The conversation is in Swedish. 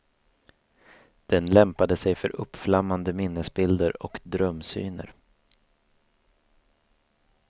Den lämpade sig för uppflammande minnesbilder och drömsyner.